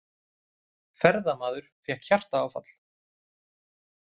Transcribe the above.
Ferðamaður fékk hjartaáfall